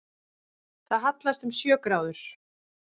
Það hallast um sjö gráður